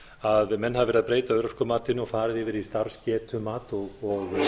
að menn hafa verið að breyta örorkumatinu og farið yfir í starfsgetumat og